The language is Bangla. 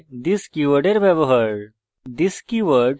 ফীল্ডের সাথে this কীওয়ার্ডের ব্যবহার